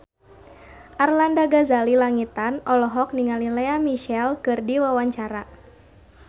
Arlanda Ghazali Langitan olohok ningali Lea Michele keur diwawancara